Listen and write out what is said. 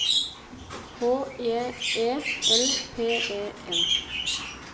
H J E L P E N